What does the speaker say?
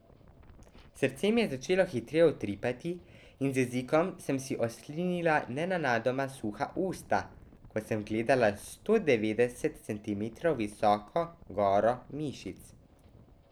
Srce mi je začelo hitreje utripati in z jezikom sem si oslinila nenadoma suha usta, ko sem gledala sto devetdeset centimetrov visoko goro mišic.